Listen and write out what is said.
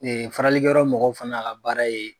faralikɛyɔrɔ mɔgɔw fana ka baara ye.